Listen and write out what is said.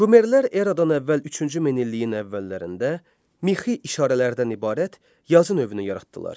Şumerlər Eradan əvvəl üçüncü minilliyin əvvəllərində mixi işarələrdən ibarət yazı növünü yaratdılar.